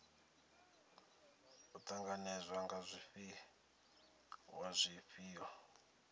u ṱanganedzwa ha zwifhiwa zwifhio